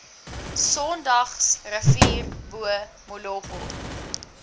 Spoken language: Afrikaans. sondagsrivier bo molopo